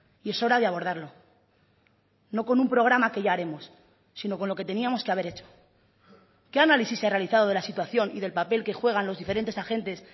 y es hora de abordarlo no con un programa que ya haremos sino con lo que teníamos que haber hecho qué análisis se ha realizado de la situación y del papel que juegan los diferentes agentes